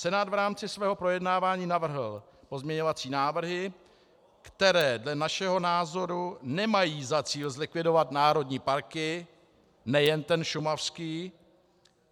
Senát v rámci svého projednávání navrhl pozměňovací návrhy, které dle našeho názoru nemají za cíl zlikvidovat národní parky, nejen ten šumavský.